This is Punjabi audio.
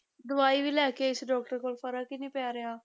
ਦਵਾਈ ਵੀ ਲੈ ਕੇ ਆਈ ਸੀ doctor ਕੋਲ, ਫ਼ਰਕ ਹੀ ਨੀ ਪੈ ਰਿਹਾ।